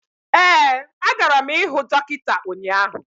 ee agara m ihụ dọkịta ụnyaahụ